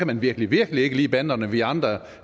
man virkelig virkelig ikke lide banderne vi andre